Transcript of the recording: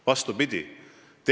Vastupidi.